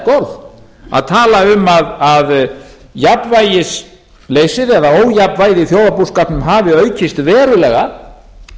orð að tala um að jafnvægisleysið eða ójafnvægið í þjóðarbúskapnum hafi aukist verulega